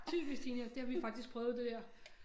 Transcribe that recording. Typisk teenagere det har vi faktisk prøvet det der